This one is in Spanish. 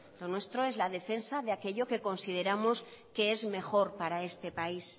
lo nuestro es la defensa de aquello que consideramos que es mejor para este país